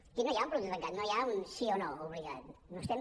aquí no hi ha un producte tancat no hi ha un sí o no obligat no estem